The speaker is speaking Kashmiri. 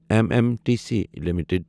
M M T C limited